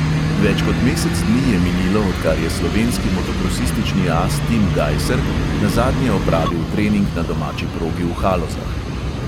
Več kot mesec dni je minilo, odkar je slovenski motokrosistični as tim gajser nazadnje opravil trening na domači progi v halozah.